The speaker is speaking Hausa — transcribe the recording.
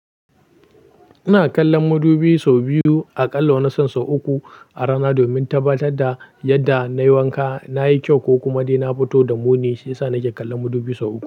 Ina kallon mudubi sau biyu a ƙalla wani san sau uku a rana domin tabbatar da yadda na yi wanka, na yi kyau ko kuma dai na fito da muni, shi ya sa nake kallon mudubi sau uku.